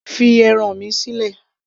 fi ẹran mi sílẹ̀